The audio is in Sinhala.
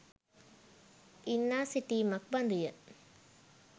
ඉල්ලා සිටීමක් බඳු ය.